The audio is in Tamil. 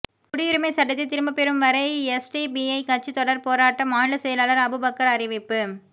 குடியுரிமை சட்டத்தை திரும்ப பெரும் வரை எஸ்டிபிஐ கட்சி தொடர் போராட்டம் மாநில செயலாளர் அபுபக்கர் அறிவிப்பு